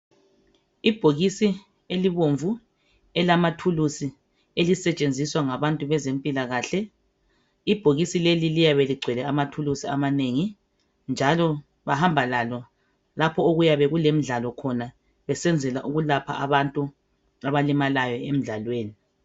Ibhokisi elibomvu elamathulusi. Elisetshenziswa ngabantu bezempilakahle. Ibhokisi leli liyabeligcwele amathulusi amanengi. Njalo bahamba lalo lapho okuyabe kulemidlalo khona besenzela ukwelapha abantu abalimalayo emdlalweni.